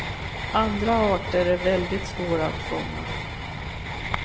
Andra arter är väldigt svåra att fånga.